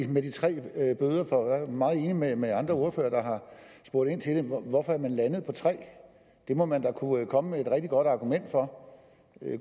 med de tre bøder for jeg er meget enig med med andre ordførere der har spurgt ind til det hvorfor er man landet på tre det må man da kunne komme med et rigtig godt argument for